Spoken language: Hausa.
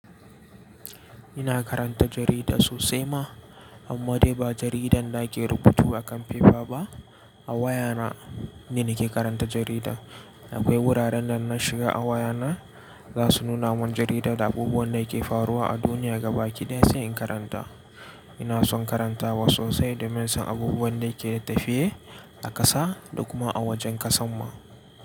Ina karanta jarida sosai ma, amma dai ba jaridan da ake rubutu a kan fefa ba, a wayana ne nake karanta jarida. Akwai wuraren da na shiga a wayana za su nuna mun jarida da abubuwan da ke faruwa a duniya gaba kiɗaya sai in karanta. Ina son karantawa sosai domin in san abubuwan da yake tafiye a ƙasa da kuma a wajen ƙasan mu.